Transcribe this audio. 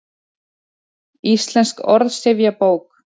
Íslensk orðsifjabók.